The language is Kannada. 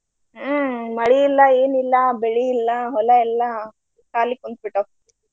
ಹ್ಮ ಮಳಿ ಇಲ್ಲ, ಏನಿಲ್ಲಾ ಬೆಳಿ ಇಲ್ಲ, ಹೊಲ ಎಲ್ಲ ಖಾಲಿ ಕುಂತ ಬಿಟ್ಟಾವ.